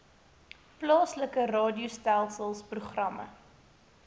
plaaslike radiogesels programme